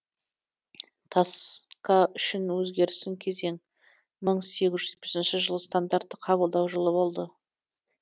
таска үшін өзгерісті кезең мың сегіз жүз жетпісінші жыл стандартты қабылдау жылы болды